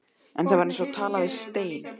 En það var eins og að tala við steininn.